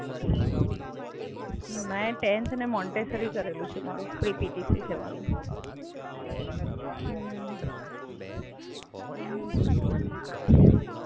મી tenth અને Montessori કરેલું છે મારુ. પ્રી-પીટીસી છે મારુ.